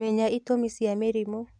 Menya itũmi cia mĩrimũ